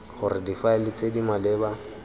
gore difaele tse di maleba